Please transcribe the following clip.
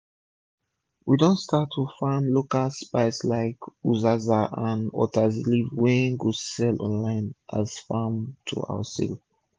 we don start to dey farm local spice like uziza and utazi leaf wey we go sell online as farm to house sale